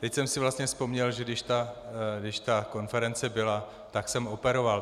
Teď jsem si vlastně vzpomněl, že když ta konference byla, tak jsem operoval.